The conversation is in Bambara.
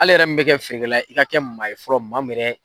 Hali e yɛrɛ min mɛ kɛ feerekɛla ye i ka kɛ maa ye fɔlɔ maa min